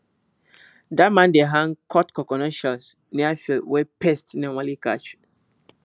dat man dey hang cut coconut shells near fields wey pests normally catch